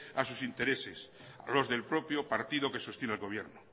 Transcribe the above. a sus intereses a los del propio partido que sostiene al gobierno